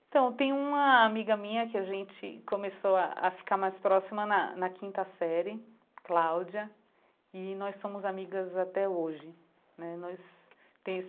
Então, tem uma amiga minha que a gente começou a ficar mais próxima na na quinta série, Cláudia, e nós somos amigas até hoje né nós